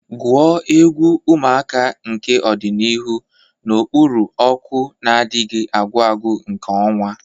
Gwuo egwu, ụmụaka nke ọdịnihu, n'okpuru ọkụ na-adịghị agwụ agwụ nke ọnwa.